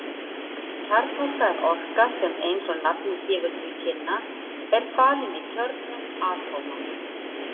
Kjarnorka er orka sem eins og nafnið gefur til kynna er falin í kjörnum atóma.